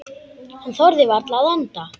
Hann þorði varla að anda.